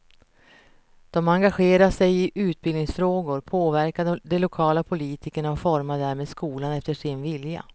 De engagerar sig i utbildningsfrågor, påverkar de lokala politikerna och formar därmed skolan efter sin vilja.